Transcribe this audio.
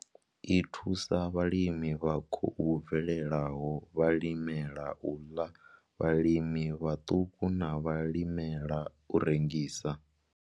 I thusa vhalimi vha khou bvelelaho, vhalimela u ḽa, vhalimi vhaṱuku na vhalimela u rengisa.